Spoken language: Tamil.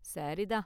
சரி தான்!